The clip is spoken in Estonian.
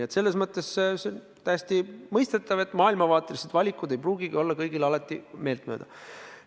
Ent see on täiesti mõistetav, et maailmavaatelised valikud ei pruugi kõigile meeltmööda olla.